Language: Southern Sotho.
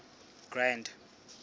grand